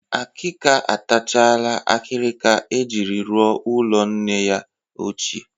Akịka atachala akịrịka e jiri rụọ ụlọ nne ya ochie